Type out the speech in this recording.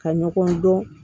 Ka ɲɔgɔn dɔn